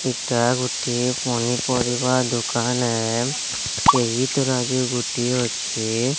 ଏଟା ଗୋଟିଏ ପନିପରିବା ଦୋକାନ ଏ। ଏହି ତରଜୁ ଗୋଟିଏ ଅଛେ।